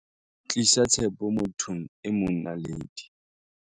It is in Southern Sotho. Tlisa tshepo mo thong e mong Naledi.